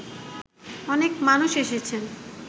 অনেক মানুষ এসেছেন